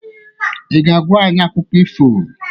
Ị ga-agwa anyị akụkọ ifo?